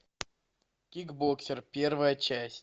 кикбоксер первая часть